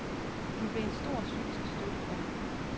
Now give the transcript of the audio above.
Hun blev en stor psykisk støtte for ham.